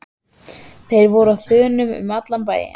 Þeir voru á þönum um allan bæinn.